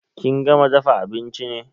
Kin gama dafa abinchi ne?